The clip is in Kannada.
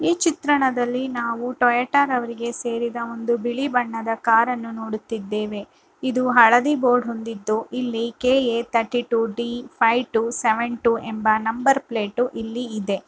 ಈ ಚಿತ್ರಣದಲ್ಲಿ ನಾವು ಟೊಯಾಟಾರವರಿಗೆ ಸೇರಿದ ಒಂದು ಬಿಳಿ ಬಣ್ಣದ ಕಾರನ್ನು ನೋಡುತ್ತಿದ್ದೇವೆ ಇದು ಹಳದಿ ಬೋರ್ಡ್ ಹೊಂದಿದ್ದು ಇಲ್ಲಿ K A thirty two D five two seven two ಎಂಬ ನಂಬರ್ ಪ್ಲೇಟ್ ಇಲ್ಲಿ ಇದೆ.